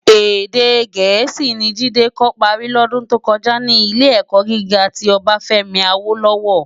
Èdè Gẹẹsi ni Jide kò pári lòdún tó kòjá ni Ilé-èkò gigá ti Obafemi Awolowo.